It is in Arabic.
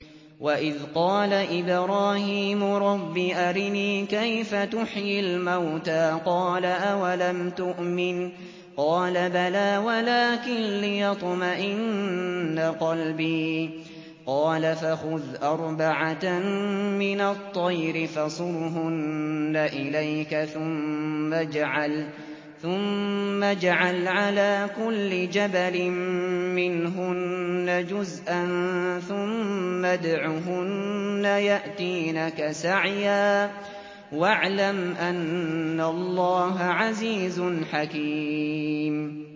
وَإِذْ قَالَ إِبْرَاهِيمُ رَبِّ أَرِنِي كَيْفَ تُحْيِي الْمَوْتَىٰ ۖ قَالَ أَوَلَمْ تُؤْمِن ۖ قَالَ بَلَىٰ وَلَٰكِن لِّيَطْمَئِنَّ قَلْبِي ۖ قَالَ فَخُذْ أَرْبَعَةً مِّنَ الطَّيْرِ فَصُرْهُنَّ إِلَيْكَ ثُمَّ اجْعَلْ عَلَىٰ كُلِّ جَبَلٍ مِّنْهُنَّ جُزْءًا ثُمَّ ادْعُهُنَّ يَأْتِينَكَ سَعْيًا ۚ وَاعْلَمْ أَنَّ اللَّهَ عَزِيزٌ حَكِيمٌ